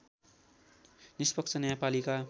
निष्पक्ष न्यायपालिका